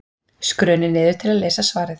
Skrunið niður til að lesa svarið.